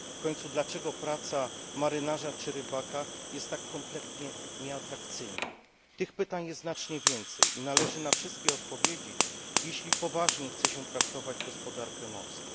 W końcu dlaczego praca marynarza czy rybaka jest tak kompletnie nieatrakcyjna? Tych pytań jest znacznie więcej i należy na wszystkie odpowiedzieć, jeśli poważnie chce się traktować gospodarkę morską.